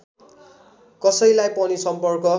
कसैलाई पनि सम्पर्क